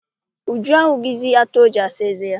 Uju ahụghịzi atụ o ji asa eze ya.